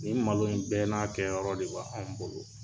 Nin malo in bɛɛ n'a kɛ yɔrɔ de b' anw bolo.